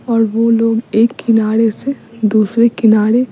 और वो लोग एक किनारे से दूसरे किनारे --